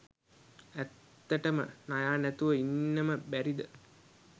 ඇත්තටම නයා නැතුව ඉන්නම බැරිද?